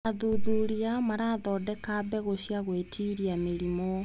Athuthuria marathondeka mbegũ ciagwĩtiria mĩrimũ.